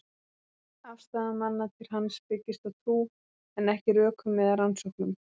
Afstaða manna til hans byggist á trú, en ekki rökum eða rannsóknum.